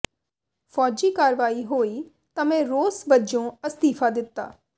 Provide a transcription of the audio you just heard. ਫ਼ੌਜੀ ਕਾਰਵਾਈ ਹੋਈ ਤਾਂ ਮੈਂ ਰੋਸ ਵਜੋਂ ਅਸਤੀਫ਼ਾ ਦਿੱਤਾ